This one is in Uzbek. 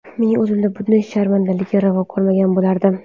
Men o‘zimga bunday sharmandalikni ravo ko‘rmagan bo‘lardim.